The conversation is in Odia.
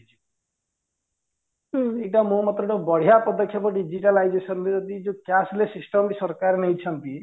ଏଇଟା ମୋ ମତରେ ଗୋଟେ ବଢିଆ ପଦକ୍ଷେପ digitalization ରେ ଏଇ ଯୋଉ cashless system ଟି ସରକାର ନେଇଛନ୍ତି